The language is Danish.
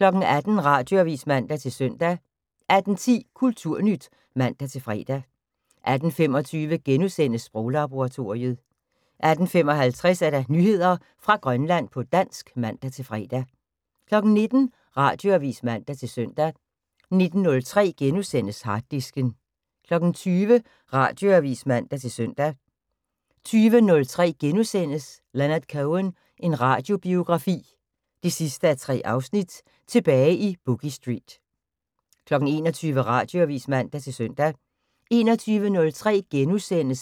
18:00: Radioavis (man-søn) 18:10: Kulturnyt (man-fre) 18:25: Sproglaboratoriet * 18:55: Nyheder fra Grønland på dansk (man-fre) 19:00: Radioavis (man-søn) 19:03: Harddisken * 20:00: Radioavis (man-søn) 20:03: Leonard Cohen – en radiobiografi 3:3: Tilbage i Boogie Street * 21:00: Radioavis (man-søn) 21:03: